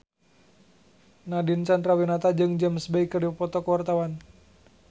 Nadine Chandrawinata jeung James Bay keur dipoto ku wartawan